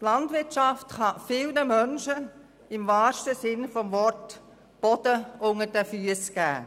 Die Landwirtschaft kann vielen Leuten im wahrsten Sinne des Wortes Boden unter den Füssen geben.